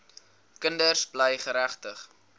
kinders bly geregtig